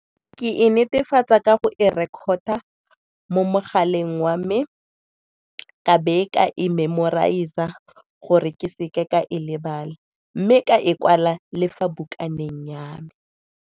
Ke e netefatsa ka go e record-a mo mogaleng wa me, ka be ka e memorize-a gore ke seke ka e lebala mme ka e kwala le fa bukana teng ya me.